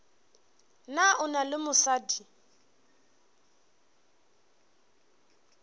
na o na le mosadi